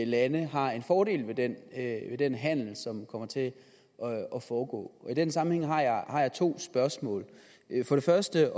lande har fordel af den handel som kommer til at foregå i den sammenhæng har jeg to spørgsmål for det første